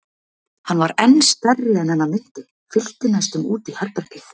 Hann var enn stærri en hana minnti, fyllti næstum út í herbergið.